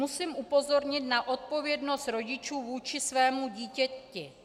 Musím upozornit na odpovědnost rodičů vůči svému dítěti.